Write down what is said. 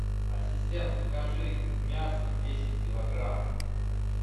ассистент закажи мясо десять килограмм